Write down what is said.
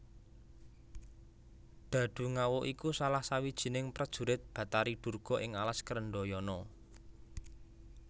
Dhadhungawuk iku salah sawijining prejurit Batari Durga ing alas Krendhayana